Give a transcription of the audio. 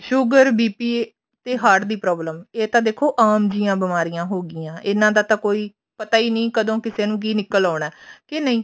sugar BP ਤੇ heart ਦੀ problem ਇਹ ਤਾਂ ਦੇਖੋ ਆਮ ਜਿਹੀਆਂ ਬਿਮਾਰੀਆਂ ਹੋ ਗਈਆਂ ਇਹਨਾ ਦਾ ਤਾਂ ਕੋਈ ਪਤਾ ਹੀ ਨੀ ਕਦੋਂ ਕਿਸੇ ਨੂੰ ਕੀ ਨਿੱਕਲ ਆਉਣਾ ਕੇ ਨਹੀਂ